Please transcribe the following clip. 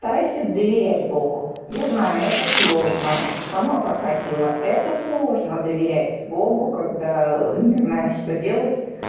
старайся доверять богу я знаю это сложно сама проходила это сложно доверять богу когда не знаешь что делать